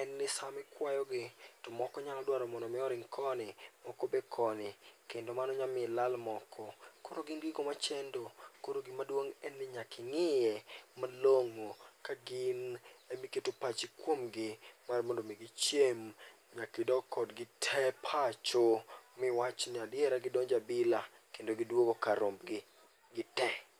en ni sama kikwayogo to moko nyalo dwaro mondo mi oring koni moko be koni kendo mano nyalo miyo ilal moko. Koro gin gigo machendo koro gima duong' en ni nyaka ing'iye malong'o ka gin ema iketo pachi kuomgi mar mondo mi gichieng' nyaka idog kodgi te pacho miwach ni adiera gidonjo e abila kendo giduogo kar rombgi gitee.